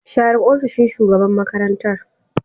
Share ofishin shugaban makarantar